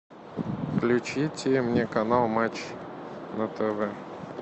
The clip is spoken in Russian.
включите мне канал матч на тв